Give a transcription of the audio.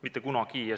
Mitte kunagi!